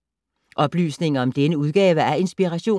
Oplysninger om denne udgave af Inspiration